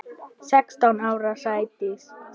Sextán ára á Sædísi.